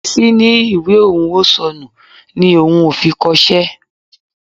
Bísí ní ìwé òun ò sọnù ni òun ò fi kọṣẹ́